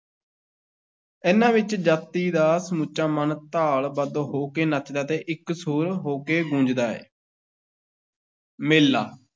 ਇਹਨਾਂ ਵਿੱਚ ਜਾਤੀ ਦਾ ਸਮੁੱਚਾ ਮਨ ਤਾਲ-ਬੱਧ ਹੋ ਕੇ ਨੱਚਦਾ ਤੇ ਇਕਸੁਰ ਹੋ ਕੇ ਗੂੰਜਦਾ ਹੈ ਮੇਲਾ,